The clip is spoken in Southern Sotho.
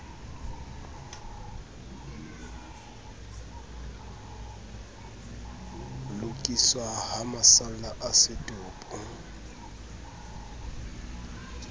lokiswa ha masalla a setopo